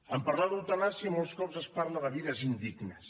en parlar d’eutanàsia molts cops es parla de vides indignes